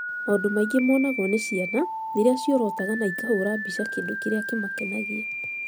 Maũndũ maingĩ monagwo nĩ ciana rĩrĩa ciorotaga na ikahũũra mbica kĩndũ kĩrĩa kĩamakenagia